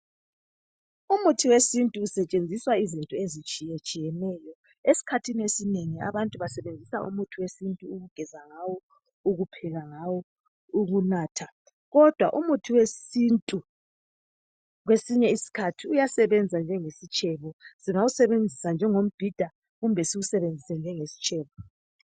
Umuthi wesintu usetshenziswa izinto ezitshiye tshiyeneyo .Eskhathini esinengi abantu basebenzisa umuthi wesintu ukugeza ngawo ,ukupheka ngawo ,ukunatha .Kodwa umuthi wesintu kwesinye isikhathi uyasebenza njenge sitshebo . Singawusebenzisa njengo mbhida . Kumbe siwusebenzise njenge sitshebo.